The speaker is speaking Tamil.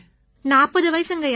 40 வயசுங்கய்யா